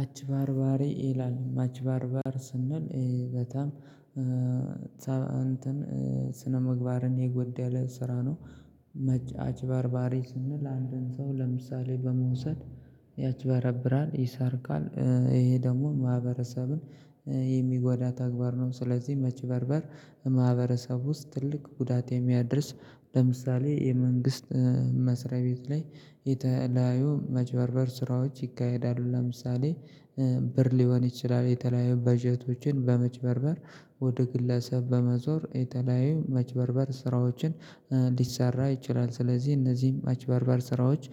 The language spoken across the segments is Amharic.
አጭበሮባሬ ይላል ማጭበርበር ስንል በጣም እንትን ስነምግባርን የጎደለ ስራ ነው። መጫጭ አጭበርባሬ ስንል አንድን ሰው ለምሳሌ በመውሰድ ያጭበረብራል ይሰርቃል ይሄ ደግሞ ማህበረሰብን የሚጎዳ ተግባር ነው። ስለዚህ መጭበርበርር ማህበረሰብ ውስጥ ትልቅ ጉዳት የሚያድርስ ለምሳሌ የመንግስት መስሪያ ቤት ላይ የተለያዩ መጭበርበር ስራዎች ይካሄዳሉ። ለምሳሌ ብር ሊሆን ይችላል የተለያዩ በጀቶችን መጭበርበር ወደ ግለሰብ በመዞር የተለያዩ መጭበርበር ስራዎችን ሊሰራ ይችላል። ስለዚህ እነዚህም መጭበርበር ስራዎች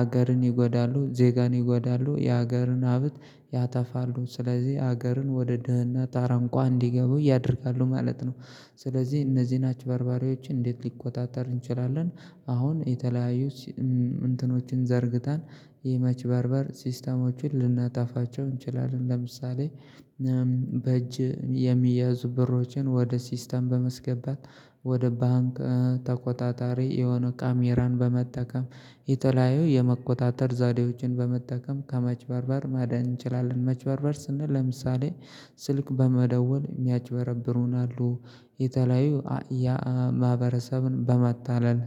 አገርን ይጎዳሉ ዜጋን ይጎዳሉ የሀገርን ሀብት ያተፋሉ ስለዚህ ሀገርን ወደ ድህነት አረንቋ እንዲገቡ ያደርጋሉ ማለት ነው። ስለዚህ እነዚህ አጭበርባርባሪዎችን እንዴት ሊቆጣጠር እንችላለን? አሁን የተለያዩ እንትኖችን ዘርግታን የመጭበርበር ሲስተሞችን ልናጣፋቸው እንችላለን ለምሳሌ በእጅ የሚያዙ ብሮችን ወደ ሲስተም በማስገባት ወደ ባንክ ተቆጣጣሪ የሆነ ካሜራን በመጠቀም የተለያየ የመቆጣጠር ዘዴዎችን በመጠቀም ከመጭበርበር ማዳን እንችላለን። መጭበርበር ስንል ለምሳሌ ስልክ በመደወል የሚያጭበረብሩናሉ የተለያዩ ያ ማህበረሰብን በማታለል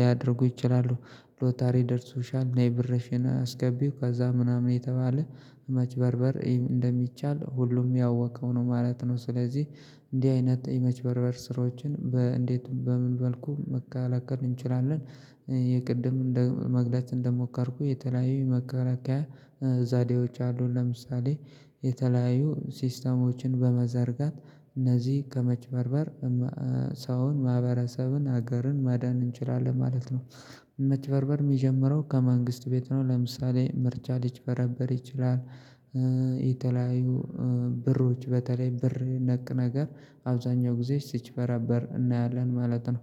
ሊያደርጉ ይችላሉ። ሎታሪ ደርሶሻል ነይ ብርሽን አስገቢው ከዛ ምናምን የተባለ መጭበርበርእ ንደሚቻል ሁሉም ያወቀው ነው ማለት ነው። ስለዚህ እንዲህ አይነት የመጭበርበር ስራዎችን በእንዴት በምን መልኩ መከላከል እንችላለን? የቅድም መግለጽ እንደሞከርኩ የተለያዩ መከራከያ ዛዴዎች አሉ ለምሳሌ የተለያዩ ሲስተሞችን በመዘርጋት እነዚህ ከመጭበርበር ሰውን ማህበረሰብን ሀገርን ማዳን እንችላለን ማለት ነው። መጭበርበር የሚጀምረው ከመንግስት ቤት ነው። ለምሳሌ ምርጫ ሌጭበርበሮ ይችላል። የተለያዩ ብሮች በተለይ ብር ነክ ነገር አብዛኛው ጊዜ ስጭበርበር እናያለን ማለት ነው።